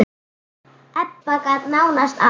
Ebba gat nánast allt.